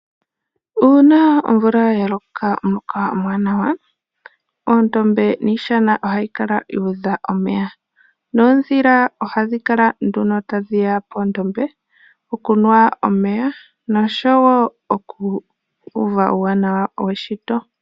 Uuna omvula ya loka omuloka omuwanawa, oondombe niishana ohayi kala ya udha omeya, noodhila ohadhi kala nduno tadhi ya poondombe okunwa omeya noshowo oku uva uuwanawa weshito.